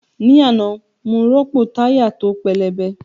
Ní àná, mo rọ́pò táyà tó pẹlẹbẹ